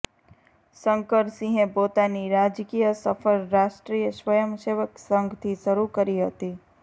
શંકરસિંહે પોતાની રાજકીય સફર રાષ્ટ્રીય સ્વયં સેવક સંઘથી શરૂ કરી હતી